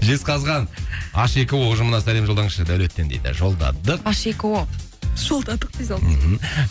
жезқазған аш екі о ұжымына сәлем жолдаңызшы даулеттен дейді жолдадық аш екі о жолдадық